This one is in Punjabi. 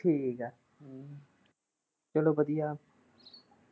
ਠੀਕ ਐ ਚੱਲੋ ਵਧੀਆ।